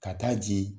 Ka taa ji